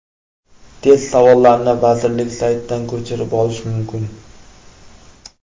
Test savollarini vazirlik saytidan ko‘chirib olish mumkin.